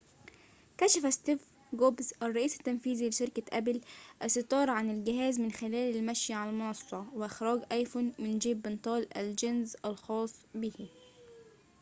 كشف ستيف جوبز الرئيس التنفيذي لشركة أبل الستار عن الجهاز من خلال المشي على المنصة وإخراج أيفون من جيب بنطال الجينز الخاص به